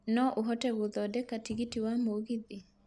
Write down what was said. no ũhote gũthondeka tigiti wa mũgithi